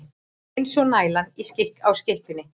Eins og nælan á skikkjunni.